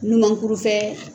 Numankuru fɛ